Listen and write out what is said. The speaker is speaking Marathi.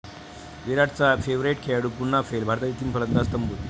विराटचा 'फेव्हरेट' खेळाडू पुन्हा फेल, भारताचे तीन फलंदाज तंबूत